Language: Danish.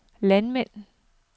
landmænd